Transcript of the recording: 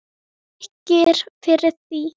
Mér þykir fyrir því.